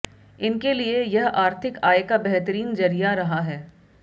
इनके लिए यह आर्थिक आय का बेहतरीन जरिया रहा है